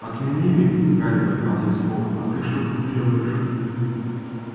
отменили гарри поднялся с пола а ты что тут делаешь